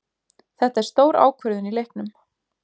Þetta er stór ákvörðun í leiknum.